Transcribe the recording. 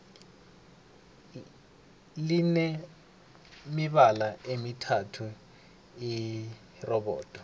line mibala emithathu irobodo